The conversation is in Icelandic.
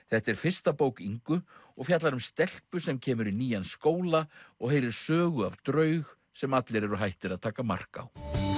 þetta er fyrsta bók Ingu og fjallar um stelpu sem kemur í nýjan skóla og heyrir sögu af draug sem allir eru hættir að taka mark á